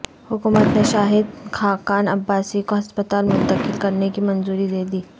حکومت نے شاہد خاقان عباسی کو ہسپتال منتقل کرنے کی منظوری دے دی